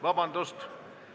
Vabandust!